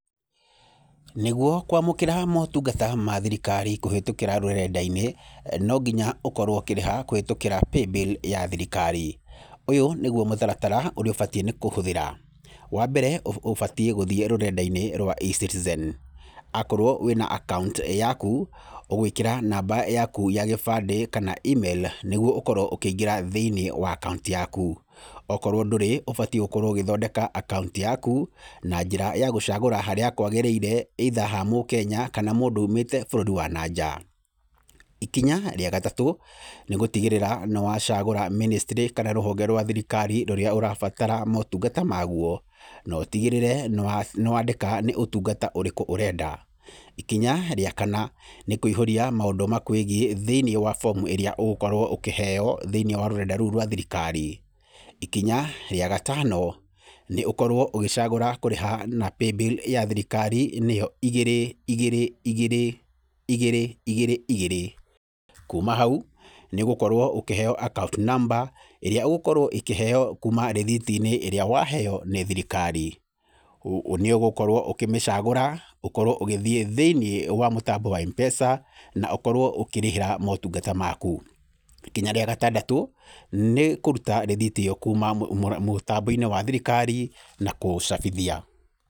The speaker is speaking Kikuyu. Nĩguo kwamũkĩra motungata ma thirikari kũhĩtũkĩra rũrenda-inĩ, no nginya ũkorwo ũkĩrĩha kũhĩtũkĩra pay bill ya thirikari. Ũyũ nĩguo mũtaratara ũrĩa ũbatiĩ nĩ kũhũthĩra. Wambere ũbatiĩ gũthiĩ rũrenda-inĩ rwa eCitizen, akorwo wĩna akaunti yaku, ũgwĩkĩra namba yaku ya gĩbandĩ kana imĩrũ nĩguo ũkorwo ũkĩingĩra thĩiniĩ wa akaunti yaku. Okorwo ndũrĩ, ũbatiĩ gũkorwo ũgĩthondeka akaunti yaku na njĩra ya gũcagũra harĩa kwagĩrĩire either ha Mũkenya kana mũndũ umĩte bũrũri wa na nja. Ikinya rĩa gatatũ nĩgũtigĩrĩra nĩwacagũra mĩnĩstĩrĩ kana rũhonge rwa thirikari rũrĩa ũrabatara motungata maguo na ũtigĩrĩre nĩwandĩka nĩ ũtungata ũrĩkũ ũreda. Ikinya rĩa kana nĩ kũihũria maũndũ makwĩgiĩ thĩiniĩ wa bomu ĩrĩa ũgũkorwo ũkĩheo thĩiniĩ wa rũrenda rũu rwa thrikari. Ikinya rĩa gatano, nĩ ũkorwo ũgĩcagũra kũrĩha na paybill ya thirikari nĩyo igĩrĩ igĩrĩ igĩrĩ igĩrĩ igĩrĩ igĩrĩ, kuma hau nĩũgũkorwo ũkĩheo akaunti namba ĩrĩa ũgũkorwo ũkĩheo kuma rĩthiti-inĩ ĩrĩa waheo nĩ thirikari. Nĩũgũkorwo ũkĩmĩcagũra ũkorwo ũgithiĩ thĩiniĩ wa mũtambo wa Mpesa na ũkorwo ũkĩrĩhĩra motungata maku. Ikinya rĩa gatandatũ nĩ ũruta rĩthiti ĩyo kuma mũtambo-inĩ wa thirikari na kũũcabithia.